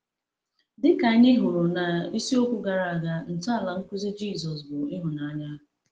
Dịka anyị hụrụ n’isiokwu gara aga, ntọala nkuzi Jisọs bụ ịhụnanya.